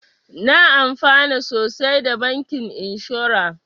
Na amfana sosai da bankin inshora